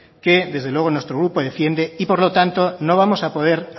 que desde luego nuestro grupo defiende por lo tanto no vamos a poder